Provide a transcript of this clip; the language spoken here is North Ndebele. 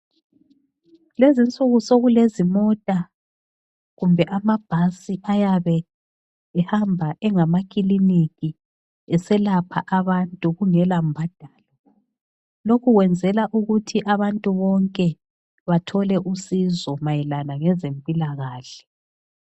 Kulezinsuku sokulezimota kumbe amabhasi ayabe ehamba engamakiliniki eselapha abantu kungela mbadalo. Lokhu kwenzela ukuthi abantu bonke bathole usizo mayelana ngezempilakahle.